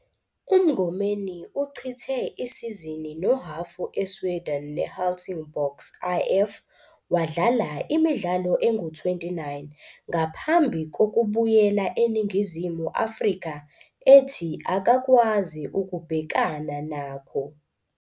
UMngomeni uchithe isizini nohhafu eSweden neHelsingborgs IF wadlala imidlalo engu-29 ngaphambi kokubuyela eNingizimu Afrika ethi akakwazi ukubhekana nakho.